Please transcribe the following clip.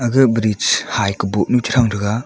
ga bridge ha ka Bo nu chan ga taga.